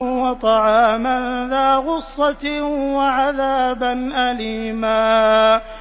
وَطَعَامًا ذَا غُصَّةٍ وَعَذَابًا أَلِيمًا